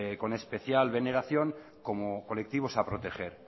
con especial veneración como colectivos a proteger